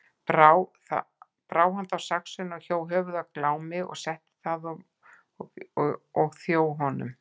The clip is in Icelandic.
Brá hann þá saxinu og hjó höfuð af Glámi og setti það við þjó honum.